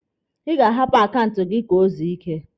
Ị ga-ahapụ akaụntụ gị ka o zuo ike!